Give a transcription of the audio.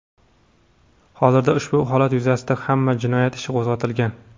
Hozirda ushbu holat yuzasidan ham jinoyat ishi qo‘zg‘atilgan.